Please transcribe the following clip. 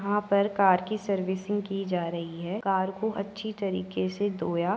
यहां पर कार की सर्विसिंग की जा रही है। कार को अच्छी तरीके से धोया --